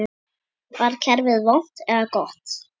Var kerfið vont eða gott?